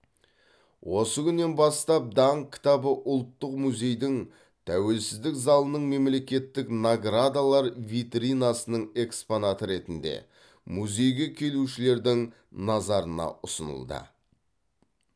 осы күннен бастап даңқ кітабы ұлттық музейдің тәуелсіздік залының мемлекеттік наградалар витринасының экспонаты ретінде музейге келушілердің назарына ұсынылды